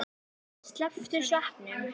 Slepptirðu sveppunum?